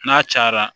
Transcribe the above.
N'a cayara